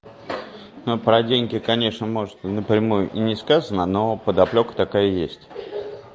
но про деньги конечно может напрямую и не сказано но подоплёка такая есть